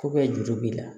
juru b'i la